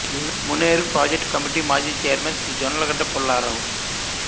Muneru project committee మాజీ chairman Shri Jonnalagadda Pullarao